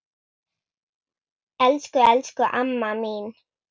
Elsku, elsku amma mín.